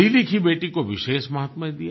पढ़ीलिखी बेटी को विशेष माहात्म्य दिया